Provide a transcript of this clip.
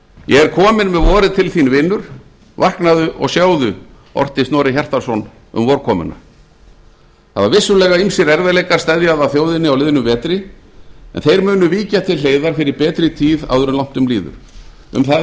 ég er kominn með vorið til þín vinur vaknaðu og sjáðu orti snorri hjartarson um vorkomuna það hafa vissulega ýmsir erfiðleikar steðjað að þjóðinni á liðnum vetri en þeir munu víkja til hliðar fyrir betri tíð áður en langt um líður um það